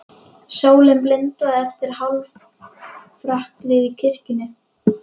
Sólin blindaði eftir hálfrökkrið í kirkjunni.